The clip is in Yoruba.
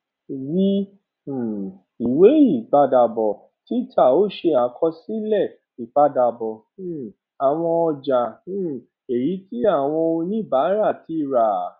v um ìwé ìpadàbò títà ó ṣe àkosílè ìpadàbò um àwọn ọjà um èyí tí àwọn oníbárà ti rà